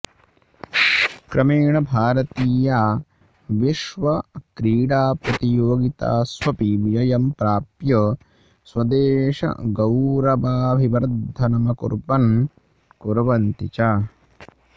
क्रमेण भारतीया विश्वक्रीडाप्रतियोगितास्वपि विजयं प्राप्य स्वदेशगौरवाभिवर्धनमकुर्वन् कुर्वन्ति च